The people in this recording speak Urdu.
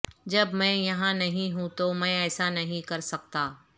جب میں یہاں نہیں ہوں تو میں ایسا نہیں کر سکتا